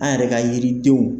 An yɛrɛ ka yiridenw